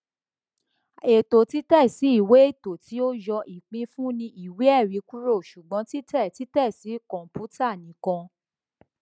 ètò títẹsí ìwé ètò tí ó yọ ìpínfunni ìwéẹrí kúrò ṣùgbọn títẹ títẹ sí kọǹpútà nìkan